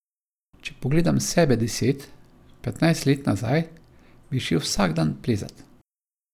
Če pogledam sebe deset, petnajst let nazaj, bi šel vsak dan plezat.